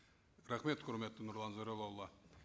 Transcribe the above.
рахмет құрметті нұрлан зайроллаұлы